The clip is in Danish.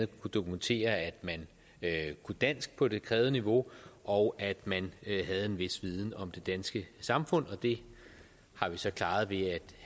kunne dokumentere at man kunne dansk på det krævede niveau og at man havde en vis viden om det danske samfund det har vi så klaret ved